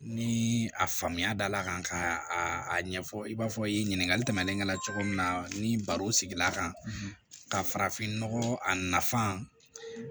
Ni a faamuya da la kan ka a ɲɛfɔ i b'a fɔ i ye ɲininkali tɛmɛnen ka na cogo min na ni baro sigila kan ka farafinnɔgɔ a nafa